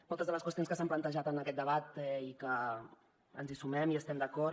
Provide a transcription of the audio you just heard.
moltes de les qüestions que s’han plantejat en aquest debat i que ens hi sumem i hi estem d’acord